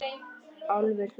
Álfur hló.